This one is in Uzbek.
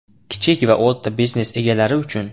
Kichik va o‘rta biznes egalari uchun!